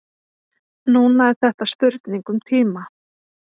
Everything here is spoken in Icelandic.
Núna er þetta spurning um tíma.